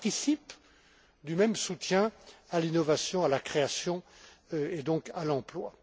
Cela participe du même soutien à l'innovation, à la création et donc à l'emploi.